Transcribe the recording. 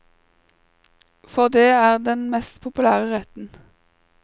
For det er den mest populære retten.